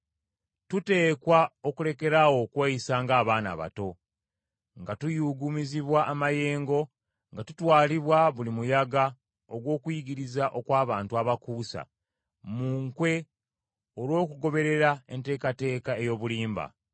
Tuteekwa okulekeraawo okweyisa ng’abaana abato, nga tuyuuguumizibwa amayengo nga tutwalibwa buli muyaga ogw’okuyigiriza okw’abantu abakuusa, mu nkwe olw’okugoberera enteekateeka ey’obulimba.